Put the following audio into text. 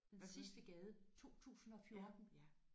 Den sidste gade 2014